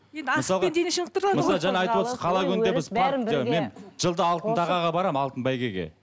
енді асықпен мен жылда алтын тағаға барамын алтын бәйгеге